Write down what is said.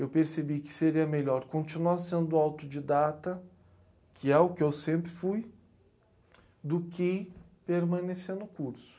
Eu percebi que seria melhor continuar sendo autodidata, que é o que eu sempre fui, do que permanecer no curso.